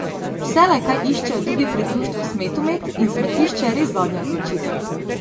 Vselej kaj iščejo tudi pri društvu Smetumet in smetišče je res zadnja odločitev.